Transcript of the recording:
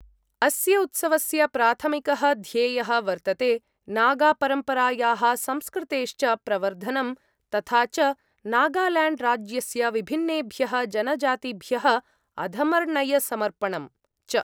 अस्य उत्सवस्य प्राथमिकः ध्येयः वर्तते नागापरम्परायाः संस्कृतेश्च प्रवर्धनं, तथा च नागाल्याण्ड्राज्यस्य विभिन्नेभ्यः जनजातिभ्यः अधमर्ण्यसमर्पणं च।